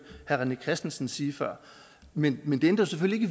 herre rené christensen sige før men men det ændrer selvfølgelig